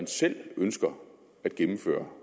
selv ønsker at gennemføre